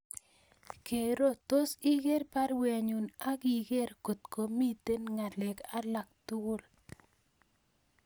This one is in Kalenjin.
Kero tos iger baruenyun ak iger kot komiten ngalek alak tugul